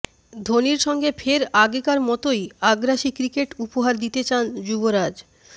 ধোনির সঙ্গে ফের আগেকার মতোই আগ্রাসী ক্রিকেট উপহার দিতে চান যুবরাজ